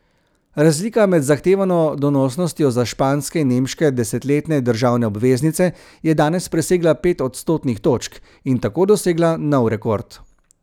Razlika med zahtevano donosnostjo za španske in nemške desetletne državne obveznice je danes presegla pet odstotnih točk in tako dosegla nov rekord.